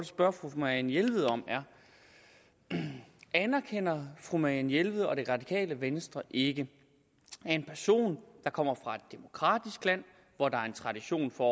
spørge fru marianne jelved om er anerkender fru marianne jelved og det radikale venstre ikke at en person der kommer fra et demokratisk land hvor der er tradition for